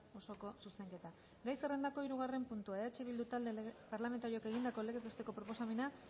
osoko zuzenketa gai zerrendako hirugarren puntua eh bildu talde parlamentarioak egindako legez besteko proposamena